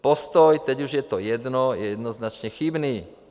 Postoj "teď už je to jedno" je jednoznačně chybný.